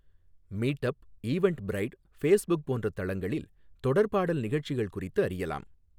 Meetup, Eventbrite, Facebook போன்ற தளங்களில் தொடர்பாடல் நிகழ்ச்சிகள் குறித்து அறியலாம்.